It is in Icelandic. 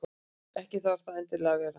Ekki þarf það endilega að vera.